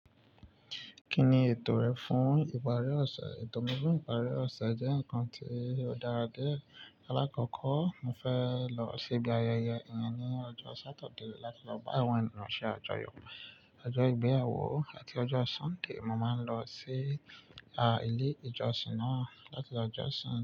Kí ni ètò rẹ fún ìparí ọ̀sẹ̀? Ètò mí fún ìparí ọ̀sẹ̀ jẹ́ ǹkan tí ó dára dí ẹ. Alákọ̀kọ́, mo fẹ́ lọ síbi ayẹyẹ ìyẹn ní ọjọ́ Sátidé láti lọ bá àwọn ènìyàn àjọyọ̀. Ọjọ́ ìgbéyàwó àti ọjọ́ Súnday, mo máa ń lọ sí, à, ilé-ìjọsìn náà láti jọ́sìn.